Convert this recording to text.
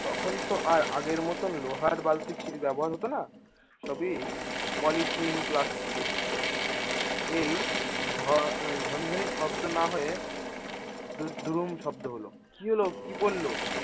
তখন তো আর আগের মতো লোহার বালতি ব্যবহার হতো না, সবই পলিথিন প্লাস্টিক এই ঝ~ ঝনঝনে শব্দ না হয়ে দুরুম শব্দ হলো। কি হলো? কী পড়লো?